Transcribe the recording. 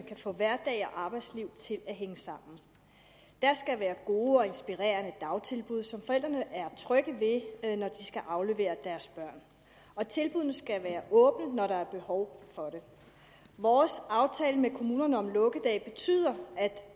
kan få hverdag og arbejdsliv til at hænge sammen der skal være gode og inspirerende dagtilbud som forældrene er trygge ved når de skal aflevere deres børn og tilbuddene skal være åbne når der er behov for det vores aftale med kommunerne om lukkedage betyder at